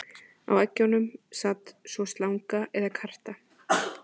Á eggjunum sat svo slanga eða karta.